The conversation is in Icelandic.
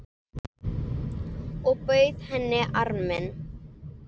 Og bauð henni arminn.